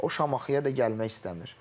O Şamaxıya da gəlmək istəmir.